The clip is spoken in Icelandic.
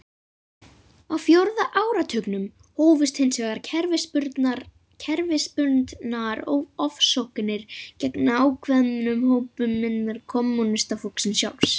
Á fjórða áratugnum hófust hins vegar kerfisbundnar ofsóknir gegn ákveðnum hópum innan kommúnistaflokksins sjálfs.